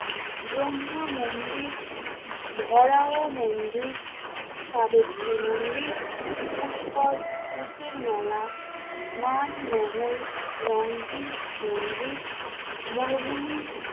ব্রহ্মা মন্দির, ভরাও মন্দির, সাবেত্রী মন্দির, পুষ্কর উটের মেলা, মান মহল, রংধি মন্দির মরুভূমি